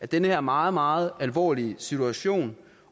den her meget meget alvorlige situation